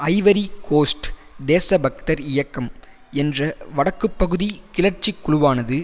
Ivory Coast தேசபக்தர் இயக்கம் என்ற வடக்கு பகுதி கிளர்ச்சி குழுவானது